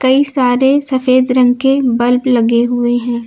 कई सारे सफेद रंग के बल्ब लगे हुए हैं।